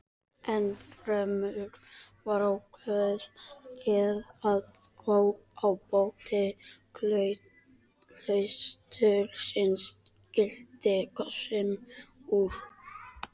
Ennfremur var ákveðið að ábóti klaustursins skyldi kosinn úr